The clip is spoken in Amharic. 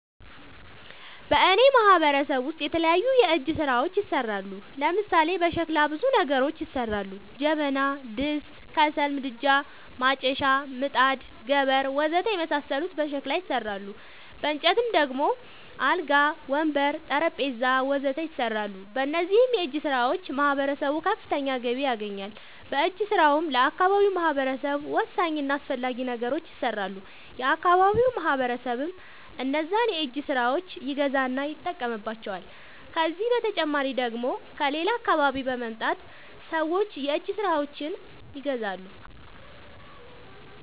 በእኔ ማህበረሰብ ውስጥ የተለያዩ የእጅ ስራዎች ይሠራሉ። ለምሳሌ፦ በሸክላ ብዙ ነገሮች ይሠራሉ። ጀበና፣ ድስት፣ ከሰል ምድጃ፣ ማጨሻ፣ ምጣድ፣ ገበር... ወዘተ የመሣሠሉት በሸክላ ይሠራሉ። በእንጨት ደግሞ አልጋ፣ ወንበር፣ ጠረንጴዛ..... ወዘተ ይሠራሉ። በእነዚህም የእጅስራዎች ማህበረሰቡ ከፍተኛ ገቢ ያገኛል። በእጅ ስራውም ለአካባቢው ማህበረሰብ ወሳኝ እና አስፈላጊ ነገሮች ይሠራሉ። የአካባቢው ማህበረሰብም እነዛን የእጅ ስራዎች ይገዛና ይጠቀምባቸዋል። ከዚህ በተጨማሪ ደግሞ ከሌላ አካባቢ በመምጣት ሠዎች የእጅ ስራዎቸችን ይገዛሉ።